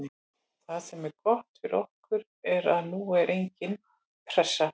Það sem er gott fyrir okkur er að nú er engin pressa.